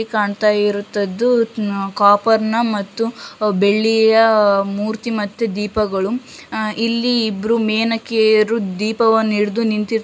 ಇಲ್ಲಿ ಕಾಣ್ತಾ ಇರೋಅಂತದ್ದು ಕಾಪರ್ ನ ಬೆಳ್ಳಿಯ ಮೂರ್ತಿ ಮತ್ತೆ ದೀಪಗಳು ಅಹ್ ಇಲ್ಲಿ ಇಬ್ರು ಮೇನೆಕೆಯರು ದೀಪವನ್ನು ಹಿಡ್ದು ನಿಂತ್ತಿರ್ತ್ಕಂತ.